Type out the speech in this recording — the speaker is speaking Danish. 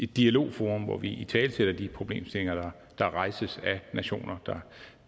dialogforum hvor vi italesætter de problemstillinger der rejses af nationer